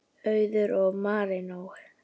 Auður og Marinó.